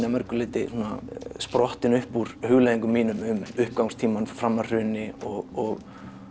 að mörgu leyti sprottin upp úr hugleiðingum mínum um uppgangstímann fram að hruni og